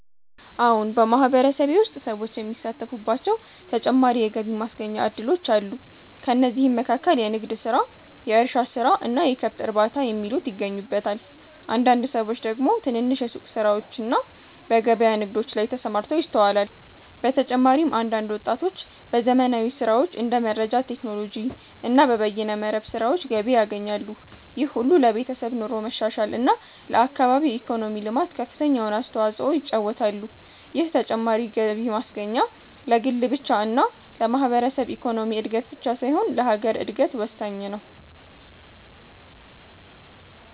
አዎን !በማህበረሰቤ ውስጥ ሰዎች የሚሳተፉባቸው ተጨማሪ የገቢ ማስገኛ እድሎች አሉ። ከእነዚህም መካከል የንግድ ስራ፣ የእርሻ ስራ እና የከብት እርባታ የሚሉት ይገኙበታል። አንዳንድ ሰዎች ደግሞ ትንንሽ የሱቅ ስራዎችና በገበያ ንግዶች ላይ ተሰማርተው ይስተዋላል። በተጨማሪም አንዳንድ ወጣቶች በዘመናዊ ስራዎች እንደ መረጃ ቴክኖሎጂ እና በበይነ መረብ ስራዎች ገቢ ያገኛሉ። ይህ ሁሉ ለቤተሰብ ኑሮ መሻሻል እና ለአካባቢ ኢኮኖሚ ልማት ከፍተኛውን አስተዋጽኦ ይጫወታሉ። ይህ ተጨማሪ ገቢ ማስገኛ ለግል ብቻ እና ለማህበረሰብ ኢኮኖሚ እድገት ብቻ ሳይሆን ለሀገር እድገት ወሳኝ ነው።